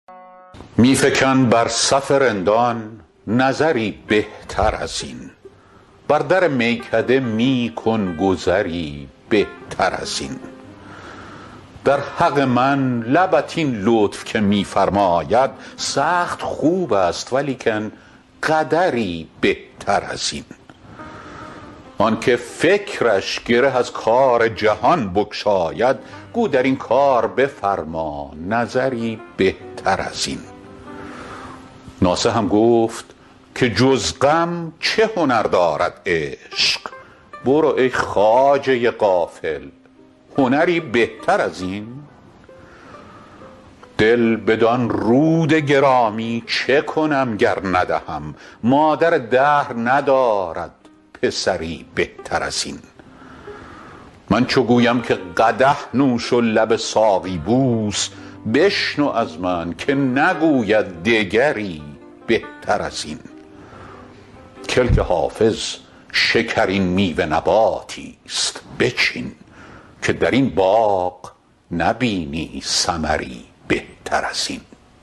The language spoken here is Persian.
می فکن بر صف رندان نظری بهتر از این بر در میکده می کن گذری بهتر از این در حق من لبت این لطف که می فرماید سخت خوب است ولیکن قدری بهتر از این آن که فکرش گره از کار جهان بگشاید گو در این کار بفرما نظری بهتر از این ناصحم گفت که جز غم چه هنر دارد عشق برو ای خواجه عاقل هنری بهتر از این دل بدان رود گرامی چه کنم گر ندهم مادر دهر ندارد پسری بهتر از این من چو گویم که قدح نوش و لب ساقی بوس بشنو از من که نگوید دگری بهتر از این کلک حافظ شکرین میوه نباتی ست بچین که در این باغ نبینی ثمری بهتر از این